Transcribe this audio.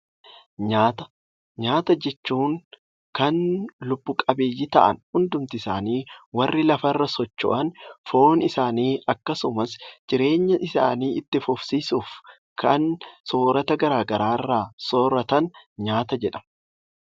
Nyaata Nyaata jechuun kan lubbu qabeeyyii ta'an hundumti isaanii warri lafa irra socho'an foon isaanii akkasumas jireenta isaanii itti fufsiisuuf kan soorata gara garaa irraa sooratan 'Nyaata' jedhama.